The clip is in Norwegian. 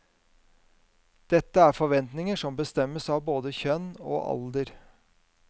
Dette er forventninger som bestemmes av både kjønn og alder.